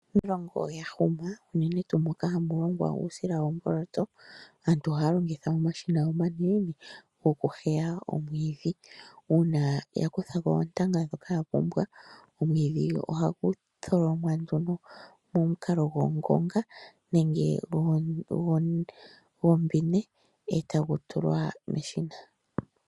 Iilongo yahuma unene tuu moka hamu longwa uusila woomboloto aantu ohaya longitha omashina omanene goku heya omwiidhi uuna yakuthako oontanga ndhoka yapumbwa omwiidhi ohagu tholomwa nduno momukalo gongonga nenge gwombine e tagu tulwa meshina.